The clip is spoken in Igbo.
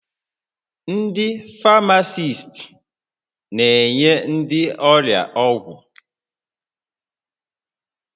Ndị Famasist na-enye ndị ọrịa ọgwụ